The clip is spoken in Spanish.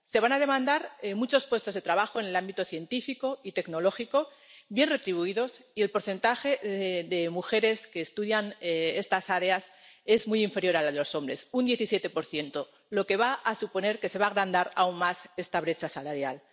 Se van a demandar muchos puestos de trabajo en el ámbito científico y tecnológico, bien retribuidos, y el porcentaje de mujeres que estudian estas áreas es muy inferior al de los hombres, un 17 lo que va a suponer que se va a agrandar aún más esta brecha salarial.